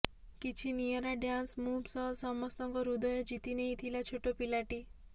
କିଛି ନିଆରା dance move ସହ ସମସ୍ତଙ୍କ ହୃଦୟ ଜିତିନେଇଥିଲା ଛୋଟ ପିଲାଟି